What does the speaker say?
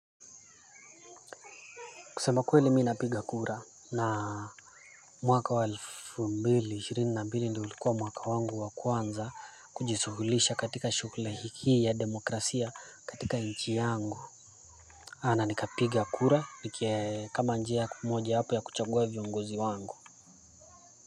Kusema kweli, mimi napiga kura mwaka wa elfu mbili ishirini na mbili, ndio ulikuwa mwaka wangu wa kwanza kujihusisha katika shughuli hii ya demokrasia katika nchi yangu. Na nikapiga kura kama njia moja ya kuchagua viongozi wangu.